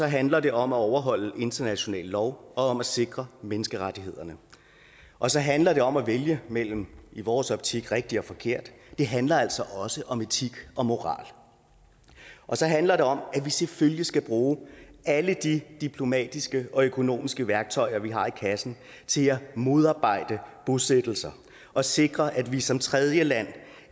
handler det om at overholde international lov og om at sikre menneskerettighederne og så handler det om at vælge imellem i vores optik rigtig og forkert det handler altså også om etik og moral så handler det om at vi selvfølgelig skal bruge alle de diplomatiske og økonomiske værktøjer vi har i kassen til at modarbejde bosættelser og sikre at vi som tredjeland